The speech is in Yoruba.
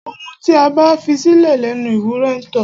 Ohun tí a bá fisílẹ̀ lẹnu ewúrẹ ńtó.